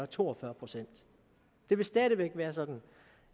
to og fyrre procent det vil stadig væk være sådan